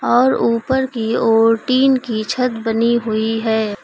और ऊपर की ओर टीन की छत बनी हुई है।